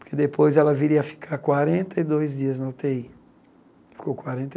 Porque depois ela viria a ficar quarenta e dois dias na u tê í.